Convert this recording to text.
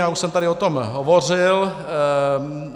Já už jsem tady o tom hovořil.